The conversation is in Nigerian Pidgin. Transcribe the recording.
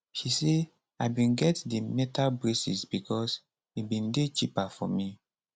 she say i bin get di metal braces becos e bin dey cheaper for me